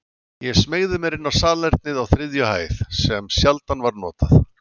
Ég smeygði mér inn á salernið á þriðju hæð, sem sjaldan var notað.